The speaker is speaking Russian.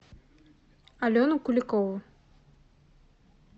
алену куликову